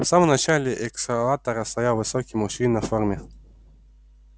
а в самом начале эскалатора стоял высокий мужчина в форме